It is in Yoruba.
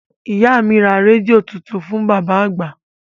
Ìyá mi ra rédíò tuntun fún bàbá àgbà